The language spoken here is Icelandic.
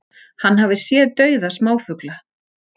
Hann hafi séð dauða smáfugla